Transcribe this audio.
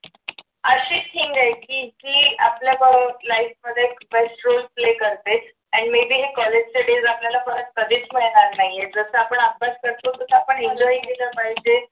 अशी thing आहे की जी आपल्या life मध्ये question play करते आणि may be हे college चे days आपल्याला परत कधीच मिळणार नाही येत जस आपण अभ्यास करतो तस आपण enjoy केलं पाहिजे.